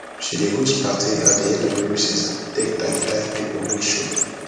she dey host paty at the end of every season take thank thank people wey show